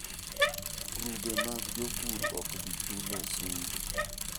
Grube mag jopur ok bi chulo osuru.